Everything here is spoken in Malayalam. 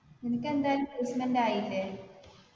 നിനക്ക് എന്തായാലും placement ആയില്ലെ